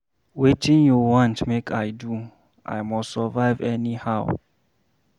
Wetin you want make I do, I must survive anyhow.